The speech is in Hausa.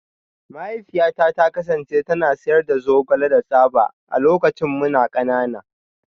Mahaifiyata ta kasance tana sayar da zogale da tsaba a lokacin muna kanana